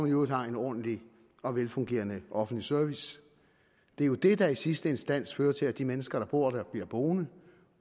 i øvrigt har en ordentlig og velfungerende offentlig service det er jo det der i sidste instans fører til at de mennesker der bor der bliver boende